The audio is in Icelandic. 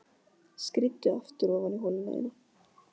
Skríddu aftur ofan í holuna þína.